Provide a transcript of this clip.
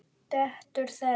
Dætur þeirra